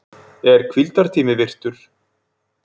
Er hvíldartími virtur?